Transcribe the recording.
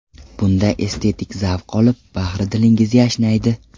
Bunda estetik zavq olib, bahri dilingiz yashnaydi.